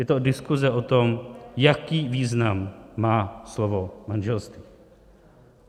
Je to diskuze o tom, jaký význam má slovo manželství.